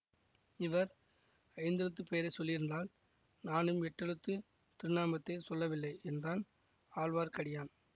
இவர் ஐந்தெழுத்துப் பெயரை சொல்லாதிருந்தால் நானும் எட்டெழுத்துத் திருநாமத்தைச் சொல்லவில்லை என்றான் ஆழ்வார்க்கடியான்